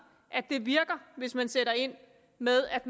at det virker hvis man sætter ind med at